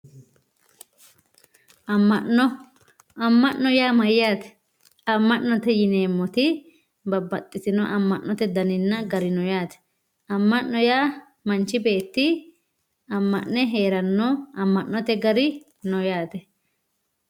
amma'no amma'no yaa mayaate amma'note yineemoti babbaxitino amma'note garinna dani no yaate amma'no yaa manch beeti amma'ne heeranno amma'note gari no yaate